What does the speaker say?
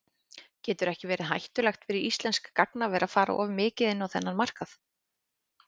Getur ekki verið hættulegt fyrir íslenskt gagnaver að fara of mikið inn á þennan markað?